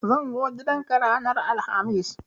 Zan zo gidan ka ranar alhamis